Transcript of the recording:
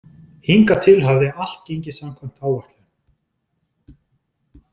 Hingað til hafði allt gengið samkvæmt áætlun.